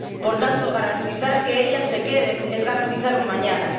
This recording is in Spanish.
Por tanto, garantizar que ellas se queden es garantizar un mañana.